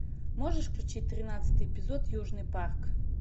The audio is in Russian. можешь включить тринадцатый эпизод южный парк